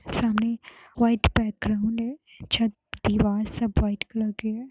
सामने white background है छत दीवार सब व्हाइट कलर के है।